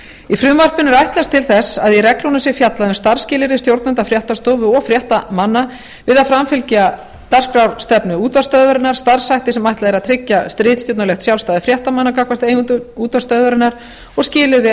í frumvarpinu er ætlast til þess að í reglunum sé fjallað um starfsskilyrði stjórnenda fréttastofu og fréttamanna við að framfylgja dagskrárstefnu útvarpsstöðvarinnar starfshætti sem ætlað er að tryggja ritstjórnarlegt sjálfstæði fréttamanna gagnvart eigendum útvarpsstöðvarinnar og skilyrði